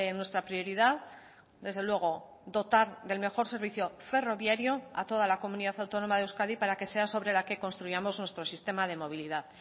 nuestra prioridad desde luego dotar del mejor servicio ferroviario a toda la comunidad autónoma de euskadi para que sea sobre la que construyamos nuestro sistema de movilidad